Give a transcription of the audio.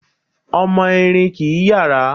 Ọmọ Erin kìí yàrá